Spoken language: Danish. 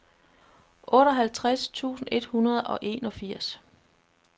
otteoghalvtreds tusind et hundrede og enogfirs